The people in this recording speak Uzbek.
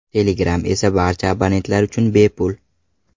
Telegram esa barcha abonentlar uchun bepul.